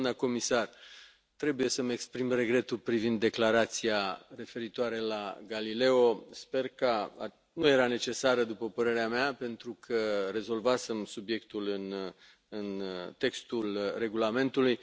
Doamnă comisar, trebuie să îmi exprim regretul privind declarația referitoare la Galileo nu era necesară, după părerea mea, pentru că rezolvasem subiectul în textul regulamentului.